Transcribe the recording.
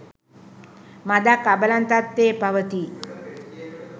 මදක් අබලන් තත්ත්වයේ පවතී.